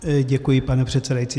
Děkuji, pane předsedající.